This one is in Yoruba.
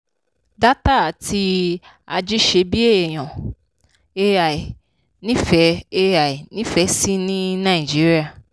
dátà àti ajíṣebíèèyàn ai nífẹ́ ai nífẹ̀ sí ní nàìjíríà.